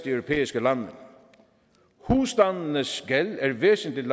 europæiske lande husstandenes gæld er væsentlig